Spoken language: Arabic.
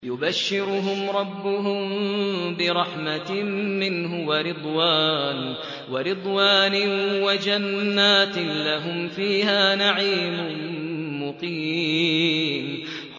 يُبَشِّرُهُمْ رَبُّهُم بِرَحْمَةٍ مِّنْهُ وَرِضْوَانٍ وَجَنَّاتٍ لَّهُمْ فِيهَا نَعِيمٌ مُّقِيمٌ